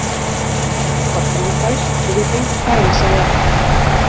Pressan var frábær og við fengum færin sem við ætluðum að fá.